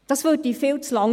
Das dauerte viel zu lange.